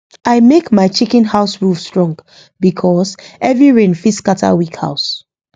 i make my chicken house roof strong because heavy rain fit scatter weak house